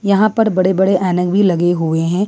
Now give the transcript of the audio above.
यहां पर बड़े बड़े ऐनक भी लगे हुए हैं।